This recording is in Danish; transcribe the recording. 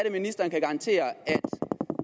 at ministeren kan garantere at